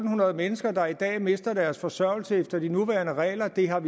hundrede mennesker der i dag mister deres forsørgelse efter de nuværende regler det har